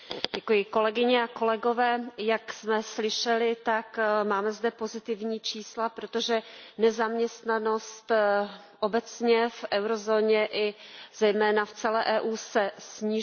Kolegyně a kolegové, jak jsme slyšeli, máme zde pozitivní čísla, protože nezaměstnanost obecně v eurozóně i zejména v celé Evropské unii se snižuje.